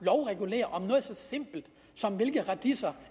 at så simpelt som hvilke radiser